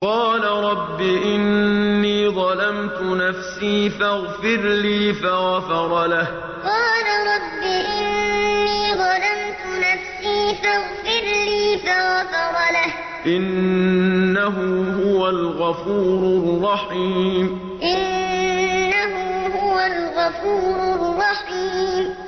قَالَ رَبِّ إِنِّي ظَلَمْتُ نَفْسِي فَاغْفِرْ لِي فَغَفَرَ لَهُ ۚ إِنَّهُ هُوَ الْغَفُورُ الرَّحِيمُ قَالَ رَبِّ إِنِّي ظَلَمْتُ نَفْسِي فَاغْفِرْ لِي فَغَفَرَ لَهُ ۚ إِنَّهُ هُوَ الْغَفُورُ الرَّحِيمُ